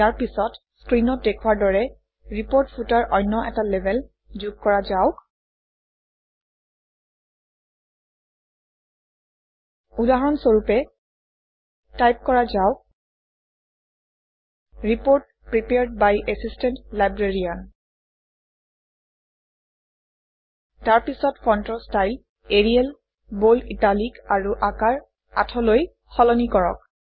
ইয়াৰ পিছত স্ক্ৰীনত দেখুওৱাৰ দৰে ৰিপৰ্ট ফুটাৰত অন্য এটা লেবেল যোগ কৰা যাওক উদাহৰণ স্বৰূপে টাইপ কৰা যাওক - report prepared by assistant librarian তাৰ পিছত ফণ্টৰ ষ্টাইল এৰিয়েল বোল্ড ইটালিক আৰু আকাৰ ৮লৈ সলনি কৰক